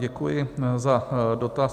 Děkuji za dotaz.